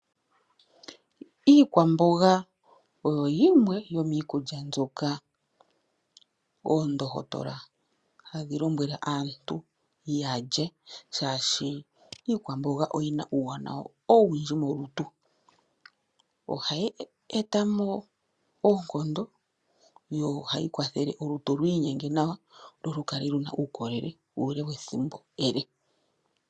Iikwamboga oyo yimwe yomiikulya mbyoka oondohotola hadhi lombwele aantu yalye shaashi iikwamboga oyina uundjolowele owundji ohayi etamo oonkondo nohayi kwathele olutu li longe nawa nohayi kwathele olutu li kale lina uukolele uule wethimbo ele.